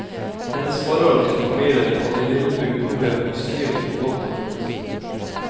Hennes forhold til familien og det lille bygdemiljøet beskrives på godt og vondt.